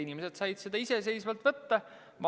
Inimesed said seda iseseisvalt võtta.